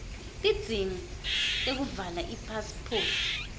tidzingo tekuvala ipasiphoti